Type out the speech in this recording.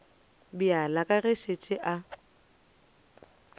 bjale ka ge a šetše